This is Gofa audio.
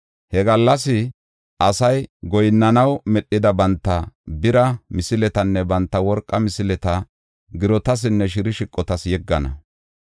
He gallasay asay goyinnanaw medhida banta bira misiletanne banta worqa misileta girotasinne shirshiqotas yeggana.